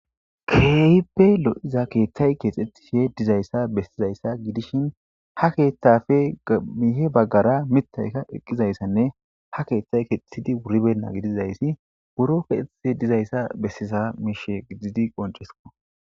Keehippe lo'iza keeththay keexxethife dizayssa bessizayssa gidishin ha keeththafe gamiihe baggara mitayka eqqizayssanne ha keeththay keexethidi wuribenna gidizayssi buro petei dizayssa bessisa miishe gididi qoncesiko.